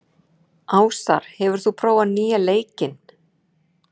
Ásar, hefur þú prófað nýja leikinn?